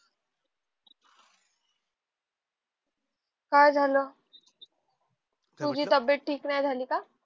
का झाल तुझी तब्बेत ठीक नाही झाली का